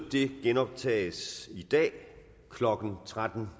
genoptages i dag klokken tretten